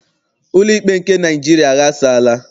Ụlọikpe nke Naịjiria aghasaala.